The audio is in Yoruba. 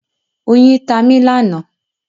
Oyin ta mi lánàá.